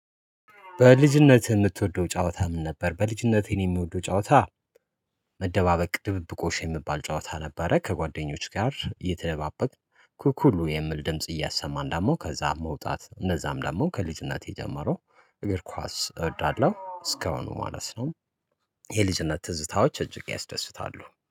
በልጅነት የምትወደው ጨዋታ ምን ነበር? በልጅነቴን እኔ የምወደው ጨዋታ መደባበቅ ድብብቆሽ የሚባል ጨዋታ ነበረ። ከጓደኞች ጋር የተደባበኩ ኩኩሉ የሚል ድምጽ እያሰማን ዳሞ ከዛ መውጣት እነዛም ደግሞ ከልጅነቴ ጀምሮ እግር ኳስ እወዳለሁ። እስከአሁን ማለት ነው። የልጅነት ትዝታዎች እጅግ ያስደስታሉ